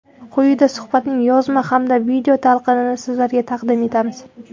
Quyida suhbatning yozma hamda video talqinini sizlarga taqdim etamiz.